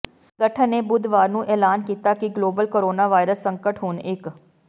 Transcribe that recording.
ਸੰਗਠਨ ਨੇ ਬੁੱਧਵਾਰ ਨੂੰ ਐਲਾਨ ਕੀਤਾ ਕਿ ਗਲੋਬਲ ਕੋਰੋਨਾ ਵਾਇਰਸ ਸੰਕਟ ਹੁਣ ਇੱਕ